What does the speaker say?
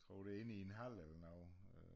Tror det er inde i en hal eller noget